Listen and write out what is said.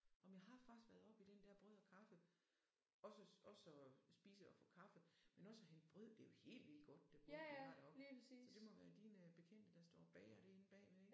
Åh men jeg har faktisk været oppe i den der brød og kaffe også også og spise og få kaffe men også at hente brød det jo helt vildt godt det brød de har deroppe så det må være dine bekendte der står og bager det inde bagved ik